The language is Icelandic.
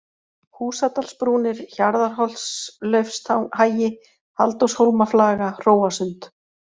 Húsadalsbrúnir, Hjarðarholtslaufshagi, Halldórshólmaflaga, Hróasund